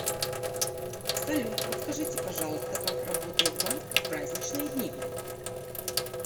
салют подскажите пожалуйста как работает банк в праздничные дни